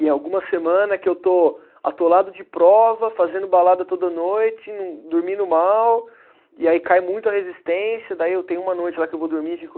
E é alguma semana que eu estou atolado de prova, fazendo balada toda noite, dormindo mal, e aí cai muito a resistência, daí eu tenho uma noite lá que eu vou dormir e fico